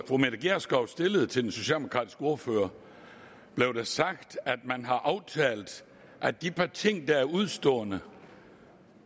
fru mette gjerskov stillede til den socialdemokratiske ordfører blev sagt at man har aftalt at de ting der er udestående